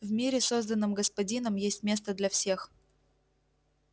в мире созданном господином есть место для всех